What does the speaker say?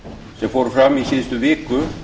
sem fóru fram í síðustu viku